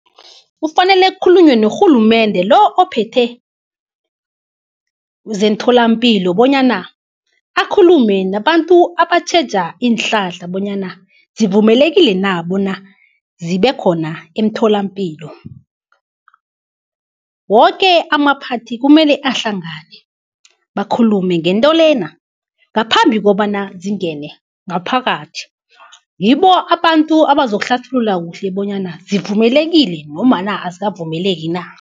Kufanele kukhulunywe norhulumende lo ophethe zentholampilo bonyana akhulume nabantu abatjheja iinhlahla, bonyana zivumelekile na bona zibe khona emtholampilo. Woke amaphathi kumele ahlangane, bakhulume ngento le, ngaphambi kobana zingene ngaphakathi. Ngibo abantu abazokuhlathulula kuhle bonyana zivumelekile azikavumeleki na.